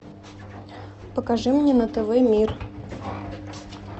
покажи мне на тв мир